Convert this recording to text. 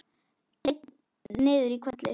Einn niður í hvelli.